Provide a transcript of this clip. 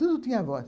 Tudo tinha voz.